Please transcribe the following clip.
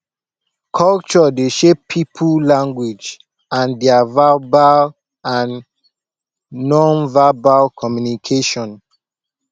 culture dey shape pipo language and their verbal and nonverbal communication